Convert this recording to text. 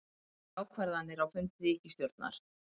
Engar ákvarðanir á fundi ríkisstjórnar